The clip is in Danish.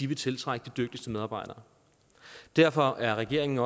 vil tiltrække de dygtigste medarbejdere derfor er regeringen